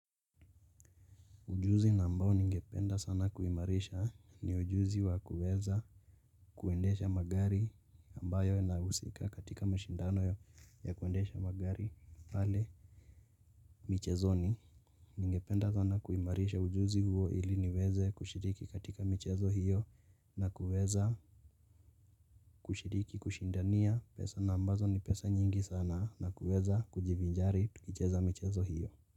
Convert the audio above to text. Ujuzi na ambao ningependa sana kuimarisha ni ujuzi wa kuweza kuendesha magari ambayo yanahusika katika mashindano ya kuendesha magari pale michezoni ningependa sana kuimarisha ujuzi huo ili niweze kushiriki katika michezo hiyo na kuweza kushiriki kushindania pesa na ambazo ni pesa nyingi sana na kuweza kujivinjari tukicheza michezo hiyo.